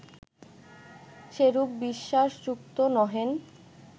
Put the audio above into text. সেরূপ বিশ্বাসযুক্ত নহেন